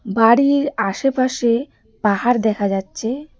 বাড়ির আশেপাশে পাহাড় দেখা যাচ্ছে.